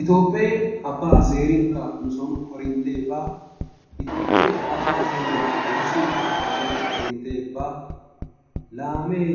Itoophphee abbaa zeerinkka nusoon korinttee baa. Itophphee abba zeeruwaa wurssiinkka nusoon korinttee baa. Laamee